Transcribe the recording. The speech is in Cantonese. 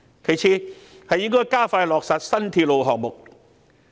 其次，政府應加快落實新鐵路項目。